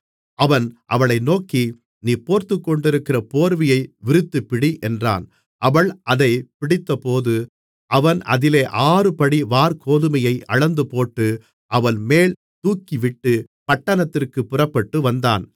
அவன் அவளை நோக்கி நீ போர்த்துக்கொண்டிருக்கிற போர்வையை விரித்துப்பிடி என்றான் அவள் அதைப் பிடித்தபோது அவன் அதிலே ஆறுபடி வாற்கோதுமையை அளந்துபோட்டு அவள்மேல் தூக்கிவிட்டு பட்டணத்திற்குப் புறப்பட்டுவந்தான்